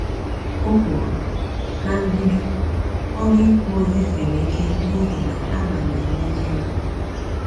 O kwuru, “Na mbido, ọrụ ikwu ozi siri ike n’ihi na a na m enwe ihere.”